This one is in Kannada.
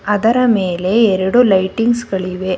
ಅದರ ಮೇಲೆ ಎರಡು ಲೈಟಿಂಗ್ಸ್ ಗಳಿವೆ.